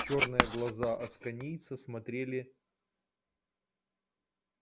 чёрные глаза асконийца смотрели